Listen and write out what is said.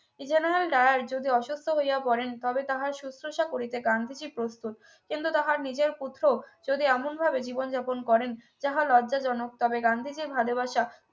এই General Dyer যদি অসুস্থ হইয়া পড়েন তবে তাহার সশ্রূষা করিতে গান্ধীজী প্রস্তুত কিন্তু তাহার নিজের পুত্র যদি এমন ভাবে জীবন যাপন করেন যাহা লজ্জাজনক তবে গান্ধীজীর ভালোবাসা